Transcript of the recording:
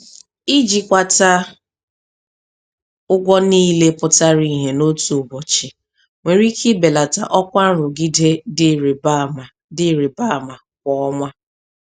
Ijikwata ụgwọ niile pụtara ìhè n'otu ụbọchị nwere ike ibelata ọkwa nrụgide dị ịrịba ama dị ịrịba ama kwa ọnwa.